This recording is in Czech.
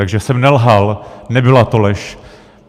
Takže jsem nelhal, nebyla to lež.